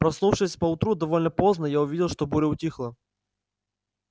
проснувшись поутру довольно поздно я увидел что буря утихла